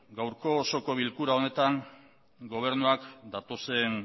gaurko osoko bilkura honetan gobernuak datozen